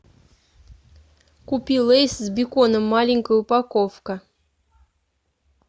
купи лейс с беконом маленькая упаковка